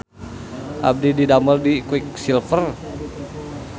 Abdi didamel di Quick Silver